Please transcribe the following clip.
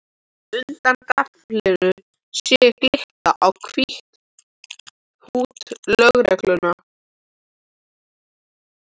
Undan gaflinum sé ég glitta í hvítt húdd lögreglu